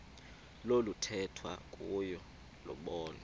oluthethwa kuyo lobonwa